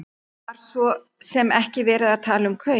Það var svo sem ekki verið að tala um kaup.